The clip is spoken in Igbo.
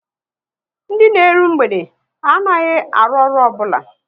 Ndị na eru mgbede anaghị arụ ọrụ obula